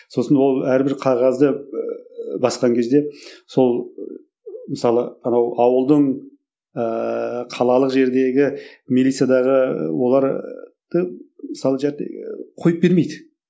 сосын ол әрбір қағазды басқан кезде сол мысалы анау ауылдың ыыы қалалық жердегі милициядағы оларды мысалы қойып бермейді